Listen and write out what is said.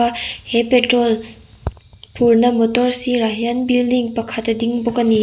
a he petrol phur na motor sirah hian building pakhat a ding bawk ani.